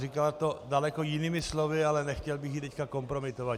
Říkala to daleko jinými slovy, ale nechtěl bych ji teď kompromitovat.